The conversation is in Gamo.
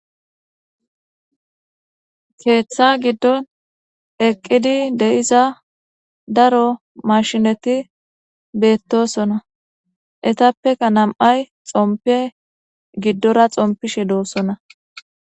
keeththa giddon eqqidi de7iza daro mashineti beettosona etappeka nam7ay xompe giddora xompishe doossona